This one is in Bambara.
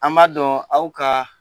An b'a dɔn aw ka